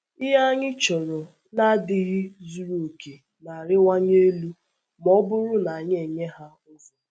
Ihe anyị chọrọ na-adịghị zuru oke na-arịwanye elu ma ọ bụrụ na anyị enye ha ụzọ.